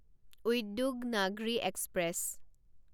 Udyognagari express